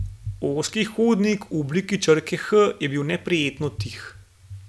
Ozki hodnik v obliki črke H je bil neprijetno tih.